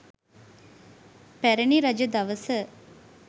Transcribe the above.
පැරැණි රජ දවස